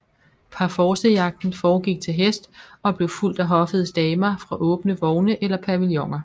Parforcejagten foregik til hest og blev fulgt af hoffets damer fra åbne vogne eller pavilloner